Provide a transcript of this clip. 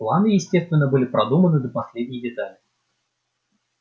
планы естественно были продуманы до последней детали